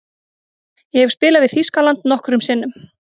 Ég hef spilað við Þýskaland nokkrum sinnum.